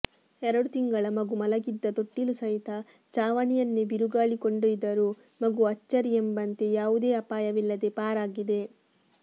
ಎರಡು ತಿಂಗಳ ಮಗು ಮಲಗಿದ್ದ ತೊಟ್ಟಿಲು ಸಹಿತ ಛಾವಣಿಯನ್ನೇ ಬಿರುಗಾಳಿ ಕೊಂಡೊಯ್ದರೂ ಮಗು ಅಚ್ಚರಿಯೆಂಬಂತೆ ಯಾವುದೇ ಅಪಾಯವಿಲ್ಲದೆ ಪಾರಾಗಿದೆ